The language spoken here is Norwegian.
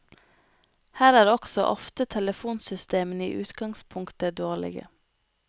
Her er også ofte telefonsystemene i utgangspunktet dårlige.